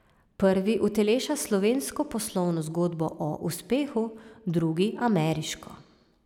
Prvi uteleša slovensko poslovno zgodbo o uspehu, drugi ameriško.